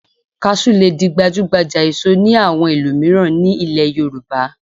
Kaṣú lè di gbajúgbajà èso ní àwọn ìlú mìíràn nílẹ̀ Yorùbá